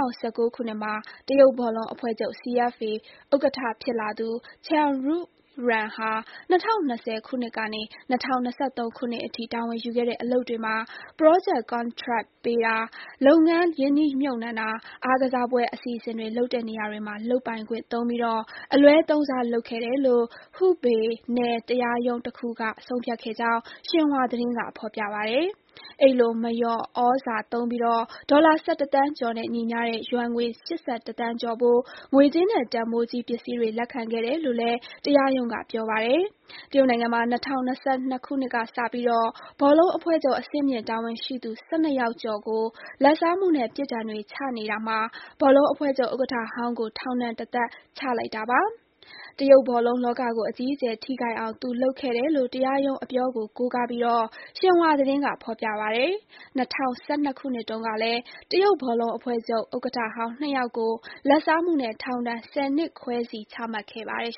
၁၉ မှာ တရုတ်ဘောလုံးအဖွဲ့ချုပ် (CFA) ဥက္ကဋ္ဌဖြစ်လာသူ Chen Xuyuan ဟာ ၂၀၂၀ ခုနှစ်ကနေ ၂၀၂၃ ခုနှစ်အထိ တာဝန်ယူခဲ့တဲ့အလုပ်တွေမှာ ပရောဂျက် ကန်ထရိုက်ပေးတာ၊ လုပ်ငန်းရင်းနှီးမြှပ်နှံတာ၊ အားကစားပွဲအစီအစဉ်တွေလုပ်တဲ့နေရာတွေမှာ လုပ်ပိုင်ခွင့်သုံးပြီး အလွဲသုံးစားလုပ်ခဲ့တယ်လို့ Hubei နယ်တရားရုံးတခုက ဆုံးဖြတ်ခဲ့ကြောင်း ဆင်ဟွာသတင်းက ဖော်ပြပါတယ်။ အဲဒီလို မလျော်ဩဇာသုံးပြီး ဒေါ်လာ ၁၁ သန်းကျော်နဲ့ညီမျှတဲ့ ယွမ်ငွေ ၈၁ သန်းကျော်ဖိုး ငွေကြေးနဲ့ တန်ဖိုးကြီးပစ္စည်းတွေလက်ခံခဲ့တယ်လို့ တရားရုံးက ပြောပါတယ်။ တရုတ်နိုင်ငံမှာ ၂၀၂၂ ခုနှစ်ကစပြီး ဘောလုံးအဖွဲ့ချုပ် အဆင့်မြင့်တာဝန်ရှိသူ ၁၂ ယောက်ကျော်ကို လာဘ်စားမှုနဲ့ ပြစ်ဒဏ်တွေချနေတာမှာ ဘောလုံးအဖွဲ့ချုပ်ဥက္ကဋ္ဌဟောင်းကို ထောင်ဒဏ် တသက်ချလိုက်တာပါ။ တရုတ်ဘောလုံးလောကကို အကြီးအကျယ်ထိခိုက်အောင် သူလုပ်ခဲ့တယ်လို့ တရားရုံးအပြောကို ကိုးကားပြီး ဆင်ဟွာသတင်းကဖော်ပြပါတယ်။ ၂၀၁၂ ခုနှစ်တုန်းကလည်း တရုတ်ဘောလုံးအဖွဲ့ချုပ်ဥက္ကဋ္ဌဟောင်း ၂ ယောက်ကို လာဘ်စားမှုနဲ့ ထောင်ဒဏ် ၁၀ နှစ်ခွဲစီ ချမှတ်ခဲ့ပါတယ်